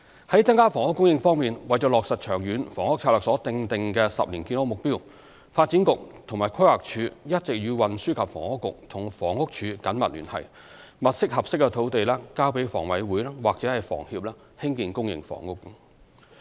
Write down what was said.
在增加房屋供應方面，為落實《長遠房屋策略》所訂定的10年建屋目標，發展局和規劃署一直與運輸及房屋局和房屋署緊密聯繫，物色合適土地交予香港房屋委員會或香港房屋協會興建公營房屋。